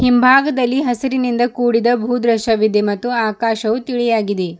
ಹಿಂಭಾಗದಲ್ಲಿ ಹಸಿರಿನಿಂದ ಕೂಡಿದ ಭೂ ದೃಶವಿದೆ ಮತ್ತು ಆಕಾಶವು ತಿಳಿಯಾಗಿದೆ.